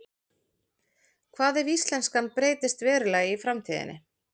Hvað ef íslenskan breytist verulega í framtíðinni?